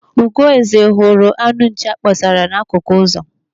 Ugoeze hụrụ anụ nchi akpọsara n'akụkụ ụzọ.